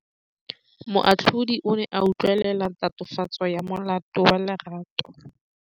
Moatlhodi o ne a utlwelela tatofatsô ya molato wa Lerato.